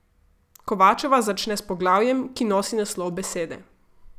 Kovačeva začne s poglavjem, ki nosi naslov Besede.